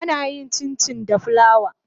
Ana yin Cincin da plawa.